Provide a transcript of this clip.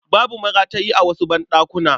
Babu maratayi a wasu banɗakunan.